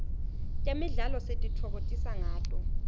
temidlalo sititfokotisa ngato